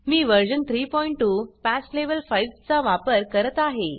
मी version 32 patch level 5 चा वापर करत आहे